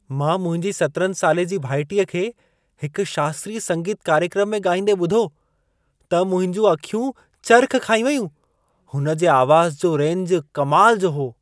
मां मुंहिंजी 17 साले जी भाइटीअ खे हिक शास्त्रीय संगीत कार्यक्रम में ॻाईंदे ॿुधो, त मुंहिंजूं अखियूं चर्ख़ खाई वेयूं। हुन जे आवाज़ जो रेंज कमाल जो हो।